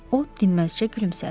O dinməzcə gülümsədi.